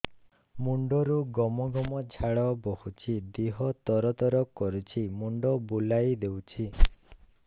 ମୁଣ୍ଡରୁ ଗମ ଗମ ଝାଳ ବହୁଛି ଦିହ ତର ତର କରୁଛି ମୁଣ୍ଡ ବୁଲାଇ ଦେଉଛି